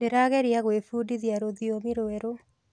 Ndĩrageria gwĩbundithia rũthiomi rwerũ.